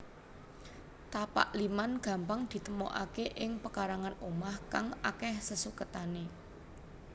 Tapak liman gampang ditemokaké ing pekarangan omah kang akéh sesuketane